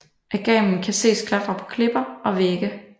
Agamen kan ses klatre på klipper og vægge